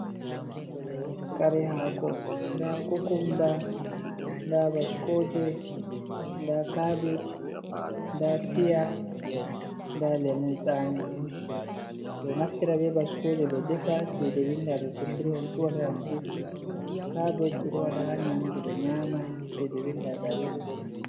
Kare hako nda kukumba, nda baskoje, nda kabeje nda piya nda lemun tsami ɓe naftira be baskoje ɓe defa. Cede winda 350 kabej ɓeɗo wada ha nyamdu ɓe nyama, cede winda ɗari uku.